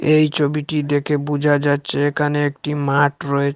এই চবিটি দেখে বুঝা যাচ্চে একানে একটি মাঠ রয়ে--